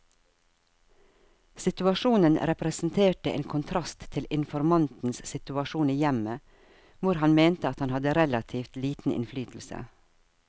Situasjonen representerte en kontrast til informantens situasjon i hjemmet, hvor han mente at han hadde relativt liten innflytelse.